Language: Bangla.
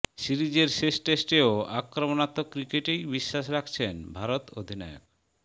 সিরিজের শেষ টেস্টেও আক্রমণাত্মক ক্রিকেটেই বিশ্বাস রাখছেন ভারত অধিনায়ক